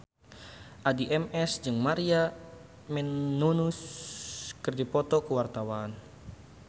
Addie MS jeung Maria Menounos keur dipoto ku wartawan